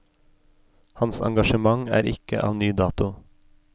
Hans engasjement er ikke av ny dato.